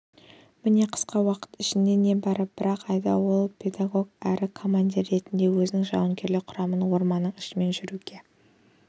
міне қысқа уақыт ішінде небәрі бір-ақ айда ол педагог әрі командир ретінде өзінің жауынгерлік құрамын орманның ішімен жүруге